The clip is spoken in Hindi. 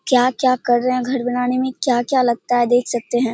क्या क्या कर रहे है घर बनाने मे क्या क्या लगता है देख सकते है।